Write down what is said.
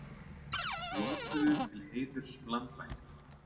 Blótuðu til heiðurs landvættunum